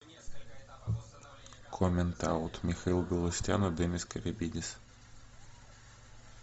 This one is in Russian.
коммент аут михаил галустян и демис карибидис